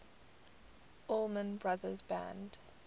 allman brothers band